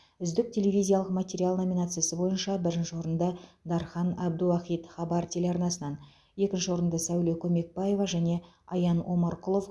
үздік телевизиялық материал номинациясы бойынша бірінші орынды дархан әбдіуахит хабар телеарнасынан екінші орынды сәуле көмекбаева және аян омарқұлов